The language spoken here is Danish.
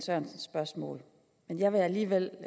sørensens spørgsmål men jeg vil alligevel